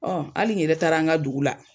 Ɔn hali n yɛrɛ taara an ka dugu la.